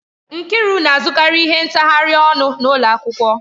Nkiru na-azụkarị ihe ntaghari ọnụ n'ụlọ akwụkwọ.